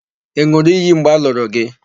Ị n̄ụrụ iyi mgbe a lụrụ gị?